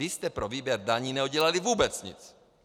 Vy jste pro výběr daní neudělali vůbec nic!